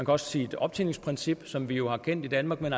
også sige et optjeningsprincip som vi jo har kendt i danmark men